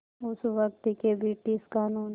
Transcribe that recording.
उस वक़्त के ब्रिटिश क़ानून